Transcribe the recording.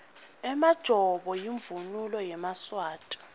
emajobo imvunulo yemaswati